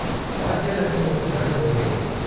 వాద్యాలన్నీ ఒక్కసారి మోగాయి.